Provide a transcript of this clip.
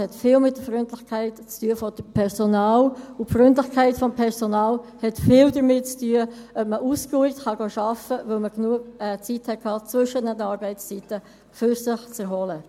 Es hat viel mit der Freundlichkeit des Personals zu tun, und die Freundlichkeit des Personals hat viel damit zu tun, ob man ausgeruht arbeiten gehen kann, weil man zwischen den Arbeitszeiten genügend Zeit hatte, sich zu erholen.